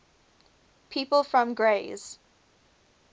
people from grays